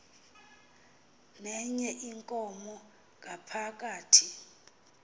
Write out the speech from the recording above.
nenye inkomo ngaphakathi